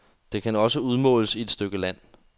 Det kan også udmåles til et stykke land.